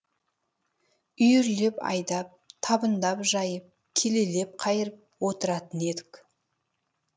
үйірлеп айдап табындап жайып келелеп қайырып отыратын едік